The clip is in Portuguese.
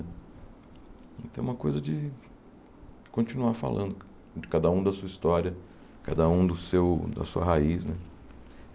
Então é uma coisa de continuar falando de cada um da sua história, cada um do seu da sua raiz né.